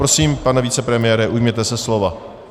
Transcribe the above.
Prosím, pane vicepremiére, ujměte se slova.